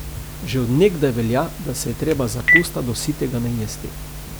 Že od nekdaj velja, da se je treba za pusta do sitega najesti.